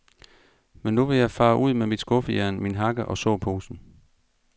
Men nu vil jeg fare ud med mit skuffejern, min hakke og såposen.